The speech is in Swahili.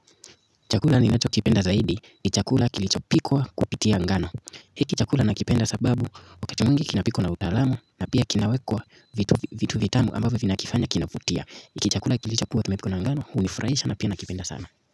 Chakula ninacho kipenda zaidi ni chakula kilicho pikwa kupitia ngano. Hiki chakula nakipenda sababu wakati mwingi kinapikwa na utaalamu na pia kinawekwa vitu vitu vitamu ambavyo vina kifanya kinavutia. Hiki kichakula kilicho kuwa kimepikwa na ngano hunifurahisha na pia nakipenda sana.